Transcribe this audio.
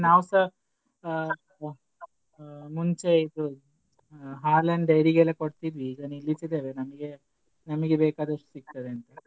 ನಾವ್ಸಾ ಆ ಆ ಮುಂಚೆ ಇದು ಹಾಲನ್ dairy ಗೆಲ್ಲ ಕೊಡ್ತಿದ್ವಿ ಈಗ ನಿಲ್ಲಿಸಿದ್ದೆವೇ ನಮ್ಗೆ ನಮ್ಗೆ ಬೇಕಾದಷ್ಟು ಸಿಕ್ತದೇ ಅಂತ.